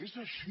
és així